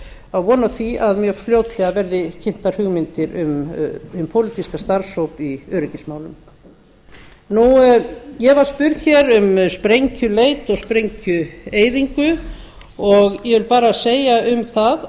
á von á því að mjög fljótlega verði kynntar hugmyndir um pólitískan starfshóp í öryggismálum ég var spurð um sprengjuleit og sprengjueyðingu og ég vil bara segja um það